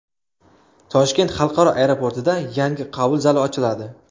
Toshkent xalqaro aeroportida yangi qabul zali ochiladi .